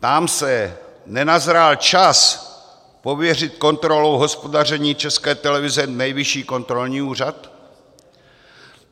Ptám se: Nenazrál čas pověřit kontrolou hospodaření České televize Nejvyšší kontrolní úřad?